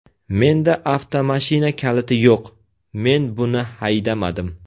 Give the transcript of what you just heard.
Menda avtomashina kaliti yo‘q, men buni haydamadim.